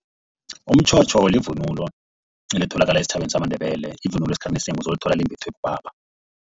Umtjhotjho yivunulo elitholakala esitjhabeni samaNdebele. Ivunulo esikhathini esinengi uzoyithola imbathwa bobaba.